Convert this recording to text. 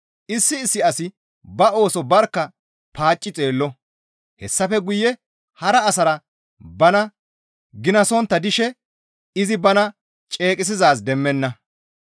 Issi issi asi ba ooso barkka paacci xeello; hessafe guye hara asara bana ginasontta dishe izi bana ceeqisizaaz demmana.